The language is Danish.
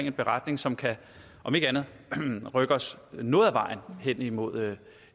en beretning som kan om ikke andet så rykke os noget af vejen hen imod